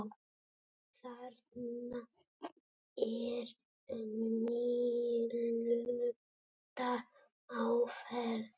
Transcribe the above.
Þarna er nýlunda á ferð.